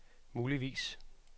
muligvis